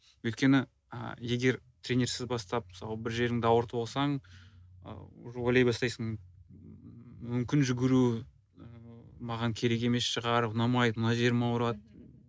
өйткені ы егер тренерсіз бастап мысалы бір жеріңді ауыртып алсаң ы уже ойлай бастайсың мүмкін жүгіру маған керек емес шығар ұнамайды мына жерім ауырады